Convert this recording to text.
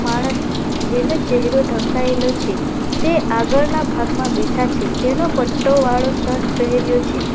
માણસ જેના ચહેરો ઢંકાયેલો છે તે આગળના ભાગમાં બેઠા છે તેનો પટ્ટો વાળો શર્ટ પહેર્યો છે.